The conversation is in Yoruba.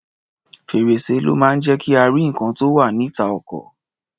Fèr̀sé ló máa ń jẹ́ kí a rí nǹkan tó wá̀ níta ọkọ̀.